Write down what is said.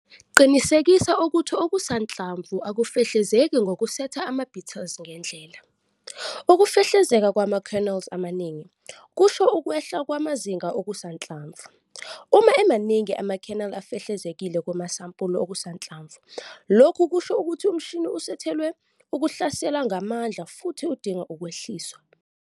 Qinisekisa ukuthi okusanhlamvu akufehlezeki ngokusetha ama-beaters ngendlela. Ukufehlezeka kwama-kernels amaningi, kusho ukwehla kwamazinga okusanhlamvu. Uma emaningi ama-kernel afehlezekile kumasampuli okusanhlamvu lokhu kusho ukuthi umshini usethelwe ukuhlasela ngamandla futhi udinga ukwehliswa.